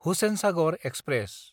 Hussain Sagar express